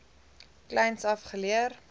kleins af geleer